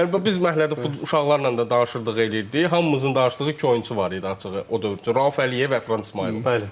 Yəni biz məhəllədə uşaqlarla da danışırdıq, eləyirdik, hamımızın danışdığı iki oyunçu var idi açığı o dövr üçün: Rauf Əliyevlə Əfran İsmayılov.